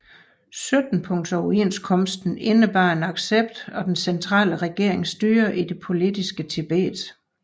Syttenpunktsoverenskomsten indebar en accept af den centrale regerings styre i det politiske Tibet